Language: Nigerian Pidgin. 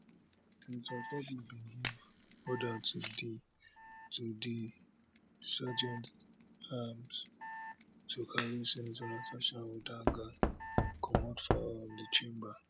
senator akpabio bin give order to di to di sergeantatarms to carry senator natasha uduaghan comot from um di chamber